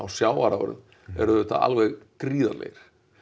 sjávarafurðum eru auðvitað alveg gríðarlegir